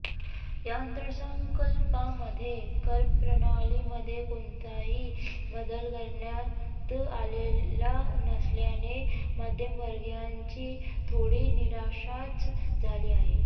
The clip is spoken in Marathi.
या अर्थसंकल्पामध्ये करप्रणालीमध्ये कोणताही बदल करण्यात आलेला नसल्याने मध्यमवर्गीयांची थोडी निराशाच झाली आहे